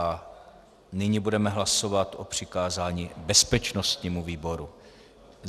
A nyní budeme hlasovat o přikázání bezpečnostnímu výboru.